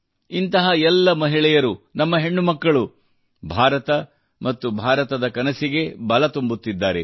ಇಂತಹ ಎಲ್ಲ ಮಹಿಳೆಯರು ನಮ್ಮ ಹೆಣ್ಣು ಮಕ್ಕಳು ಭಾರತ ಮತ್ತು ಭಾರತದ ಕನಸಿಗೆ ಬಲ ತುಂಬುತ್ತಿದ್ದಾರೆ